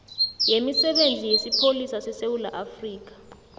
yemisebenzi yesipholisa sesewula